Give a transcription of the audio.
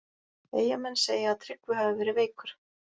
Eyjamenn segja að Tryggvi hafi verið veikur.